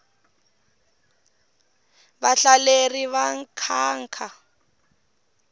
vahlaleri va nkhankha